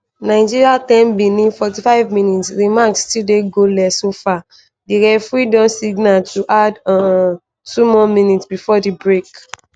nigeria 1-0 benin 45 mins - di match still dey goalless so far di referee don signal to add um two more minutes before di break.